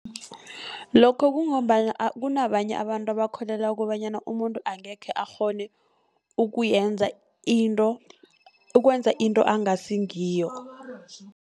Lokho kungombana kunabanye abantu abakholelwa kobanyana, umuntu angekhe akghone ukuyenza into ukwenza into angasi ngiyo.